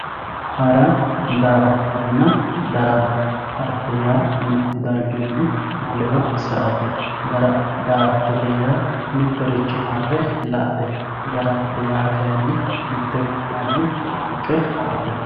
hara daa"attonna darama harate yaa mittu darginni wolewa sa"ate da"attote yaa mittoricho marre la"ate daramate yaa kayiinni mitte gobbanni xoonqe harate.